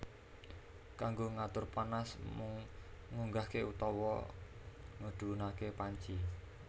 Kanggo ngatur panas mung ngunggahke utawa ngedhunake panci